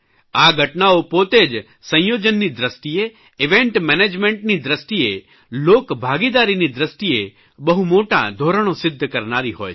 આ ઘટનાઓ પોતે જ સંયોજનની દ્રષ્ટિએ ઇવેન્ટ મેનેજમેન્ટની દ્રષ્ટિએ લોકભાગીદારીની દ્રષ્ટિએ બહુ મોટા ધોરણો સિદ્ધ કરનારી હોય છે